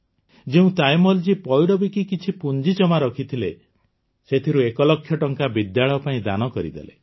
ଯେଉଁ ତାୟମ୍ମଲଜୀ ପଇଡ଼ ବିକି କିଛି ପୁଞ୍ଜି ଜମା କରିଥିଲେ ସେଥିରୁ ୧ ଲକ୍ଷ ଟଙ୍କା ବିଦ୍ୟାଳୟ ପାଇଁ ଦାନ କରିଦେଲେ